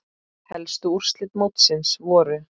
Helstu úrslit mótsins voru